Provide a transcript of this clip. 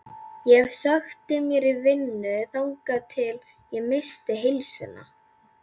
Ég sökkti mér í vinnu þangað til ég missti heilsuna.